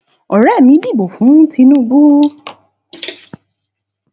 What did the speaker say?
Ọ̀rẹ́ mí dìbò fún Tinubú